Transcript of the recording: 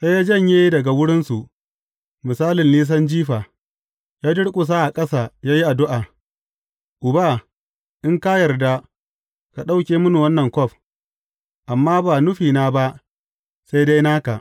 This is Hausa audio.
Sai ya janye daga wurinsu, misalin nisan jifa, ya durƙusa a ƙasa ya yi addu’a, Uba, in ka yarda, ka ɗauke mini wannan kwaf, amma ba nufina ba, sai dai naka.